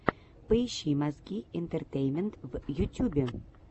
поищи мозги интертеймент в ютюбе